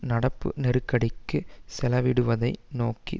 நடப்பு நெருக்கடிக்கு செலவிடுவதை நோக்கி